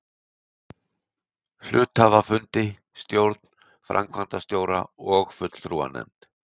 hluthafafundi, stjórn, framkvæmdastjóra og fulltrúanefnd.